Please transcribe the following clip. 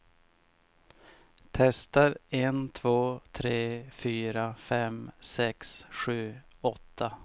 Testar en två tre fyra fem sex sju åtta.